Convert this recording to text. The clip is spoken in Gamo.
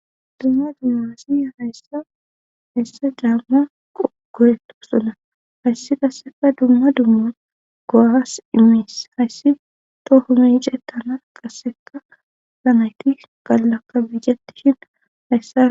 dumma dummasi hayssa hessa daamma qogoretu suna hayssi qasseka dumma dumma goaas immiis hayssi to homece tana qasseka lanayti gallakka biijetishin hayssa